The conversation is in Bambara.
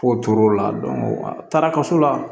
Fo tor'o la taara kaso la